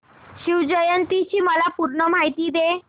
शिवजयंती ची मला पूर्ण माहिती दे